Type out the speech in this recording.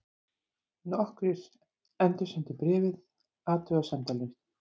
Nokkrir endursendu bréfið athugasemdalaust.